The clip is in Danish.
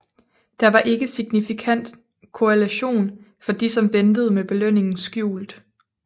Der var ikke signifikant korrelation for de som ventede med belønningen skjult